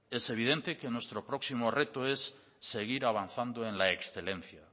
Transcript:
es evidente que nuestro próximo reto es seguir avanzando en la excelencia